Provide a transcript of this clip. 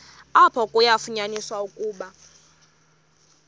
apho kwafunyaniswa ukuba